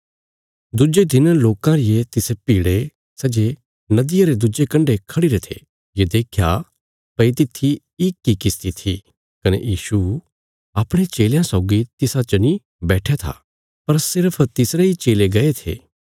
दुज्जे दिन लोकां रिये तिसे भीड़े सै जे नदिया रे दुज्जे कण्डे खढ़िरे थे ये देख्या भई तित्थी इक इ किश्ती थी कने यीशु अपणे चेलयां सौगी तिसा च नीं बैट्ठया था पर सिर्फ तिसरे इ चेले गये थे